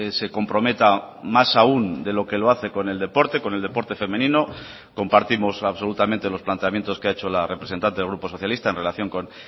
se comprometa más aún de lo que lo hace con el deporte con el deporte femenino compartimos absolutamente los planteamientos que ha hecho la representante del grupo socialista en relación con